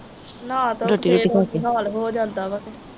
ਨਹਾ ਕੇ ਫਿਰ ਉਹੀ ਹਾਲ ਹੋ ਜਾਂਦਾ ਵਾ ਕੇ